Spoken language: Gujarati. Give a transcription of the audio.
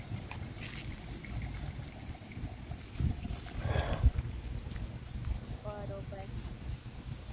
આતો બેસ્ટ ઓપ્શન છે મને તો ખબર જ નહોતી મને તો ચેક માંથી A-one પણ limit હોય છે તમે આટલા સુધી ન કરી શકો છો અને આ તો એકદમ easy છે